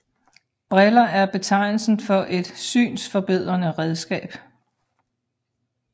Briller er betegnelsen for et synsforbedrende redskab